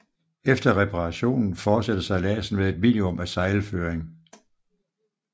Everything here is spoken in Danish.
Efter reparationen fortsætter sejladsen med et minimum af sejlføring